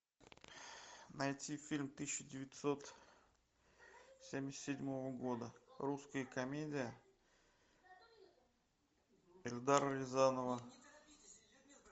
найти фильм тысяча девятьсот семьдесят седьмого года русская комедия эльдара рязанова